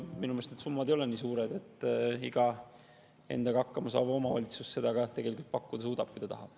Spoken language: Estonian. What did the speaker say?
Minu meelest need summad ei ole kuigi suured, iga endaga hakkama saav omavalitsus suudab seda tegelikult pakkuda, kui ta tahab.